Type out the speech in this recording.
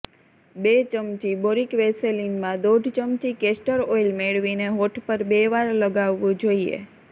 બે ચમચી બોરિક વેસેલિનમાં દોઢ ચમચી કેસ્ટર ઓઇલ મેળવીને હોઠ પર બે વાર લગાવવું જોઇએ